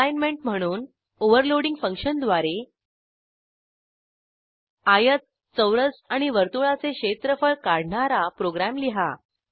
assignment म्हणून overloading फंक्शनद्वारे आयत चौरस आणि वर्तुळाचे क्षेत्रफळ काढणारा प्रोग्रॅम लिहा